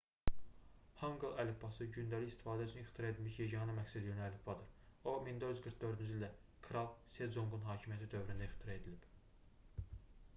hanqıl əlifbası gündəlik istifadə üçün ixtira edilmiş yeganə məqsədyönlü əlifbadır. o 1444-cü ildə kral seconqun hakimiyyəti dövründə 1418-1450 ixtira edilib